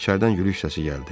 İçəridən gülüş səsi gəldi.